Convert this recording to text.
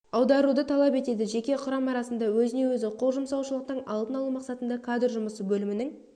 аударуды талап етеді жеке құрам арасында өзіне-өзі қол жұмсаушылықтың алдын алу мақсатында кадр жұмысы бөлімінің